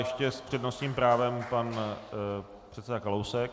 Ještě s přednostním právem pan předseda Kalousek.